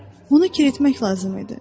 Onu kir etmək lazım idi.